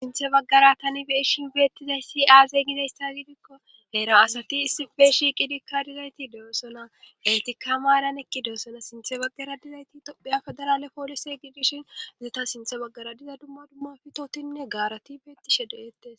Sinthe baggara tani beeshin beettizay si aaze gizayssa gidikko heera asati issi beeshi qidikka dizayti deossona heltika ma eran ekki deosona sinthe baggara dizayti tophiya fedarale poolise gidishin zeta sinthe baggara diza dumma dumma fitotinne gaarati beettishe doyettes